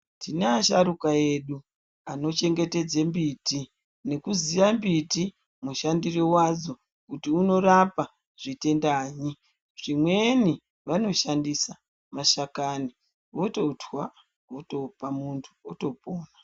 Tina asharuka edu anochengetedza mbiti nekuziye mbiti mushandire wadzo kuti unorapa zvitendanyi. Vamweni vanoshandisa mashakani, vototwa votopa muntu, otopona.